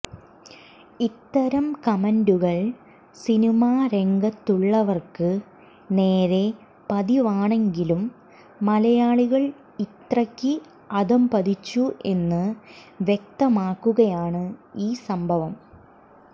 ഇത്തരം കമന്റുകൾ സിനിമ രംഗത്തുള്ളവർക്ക് നേരെ പതിവാണെങ്കിലും മലയാളികൾ ഇത്രക്ക് അധപതിച്ചു എന്ന് വ്യക്തമാക്കുകയാണ് ഈ സംഭവം